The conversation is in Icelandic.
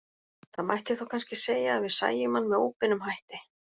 Það mætti þá kannski segja að við sæjum hann með óbeinum hætti.